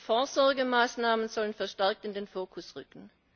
Vorsorgemaßnahmen sollen verstärkt in den Fokus rücken.